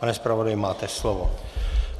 Pane zpravodaji, máte slovo.